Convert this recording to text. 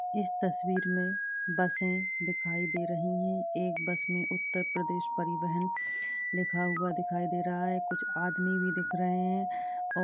इस तस्वीर में बसें दिखाई दे रही है। एक बस में उतर प्रदेश परिवाहन लिखा हुआ दिखाई दे रहा है। कुछ आदमी भी दिख रहे है। --